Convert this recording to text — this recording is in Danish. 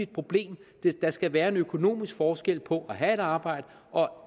problem der skal være en økonomisk forskel på at have arbejde og